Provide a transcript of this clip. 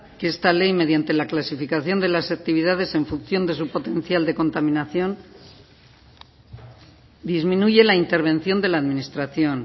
que esta ley mediante la clasificación de las actividades en función de su potencial de contaminación disminuye la intervención de la administración